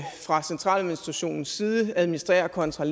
fra centraladministrationens side administrerer contra